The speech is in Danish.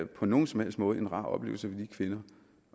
på nogen som helst måde en rar oplevelse for de kvinder